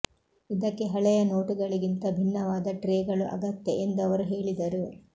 ಇದಕ್ಕೆ ಹಳೆಯ ನೋಟುಗಳಿಗಿಂತ ಭಿನ್ನವಾದ ಟ್ರೇಗಳು ಅಗತ್ಯ ಎಂದು ಅವರು ಹೇಳಿದರು